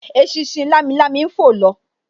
Eṣinṣin lamilami ń fò lọ